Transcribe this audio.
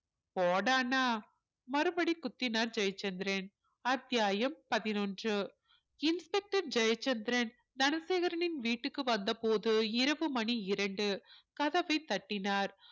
போடான்னா மறுபடியும் குத்தினார் ஜெயச்சந்திரன் அத்தியாயம் பதினொன்று inspector ஜெயச்சந்திரன் தனசேகரனின் வீட்டுக்கு வந்த போது இரவு மணி இரண்டு கதவைத் தட்டினார்